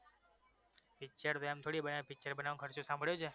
picture તો એમ થોડી બને પિક્ચર બનાવવા માટે ખર્ચો સાંભળ્યો છે?